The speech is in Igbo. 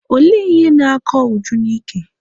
Olee ihe na-akọ Uju n'ike?